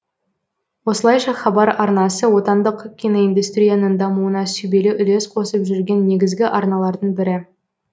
осылайша хабар арнасы отандық киноиндустрияның дамуына сүбелі үлес қосып жүрген негізгі арналардың бірі